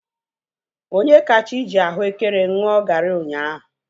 Onyekachi ji ahuekere ṅụọ gari ụnyaahụ